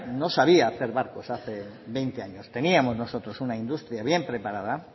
no sabía hacer barcos hace veinte años teníamos nosotros una industria bien preparada